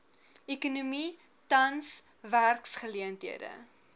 ekonomie tans werksgeleenthede